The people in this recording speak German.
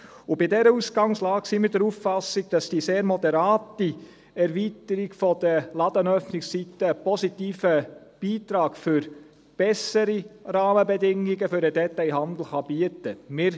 Bei dieser Ausgangslage sind wir der Auffassung, dass die sehr moderate Erweiterung der Ladenöffnungszeiten einen positiven Beitrag für bessere Rahmenbedingungen für den Detailhandel bieten kann.